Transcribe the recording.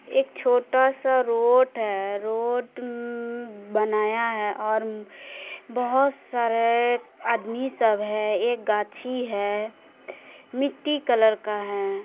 एक छोटा-सा रोड है रोड बनाया है और बोहोत सारे आदमी सब है एक गाछी है मिट्टी कलर का है।